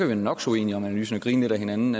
være nok så uenige om analysen og grine lidt ad hinanden